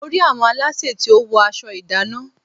Mo rí àwọn aláṣẹ tí ó wọ aṣọ ìdánná.